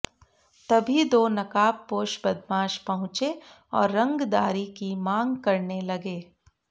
तभी दो नकाबपोश बदमाश पहुंचे और रंगदारी की मांग करने लगे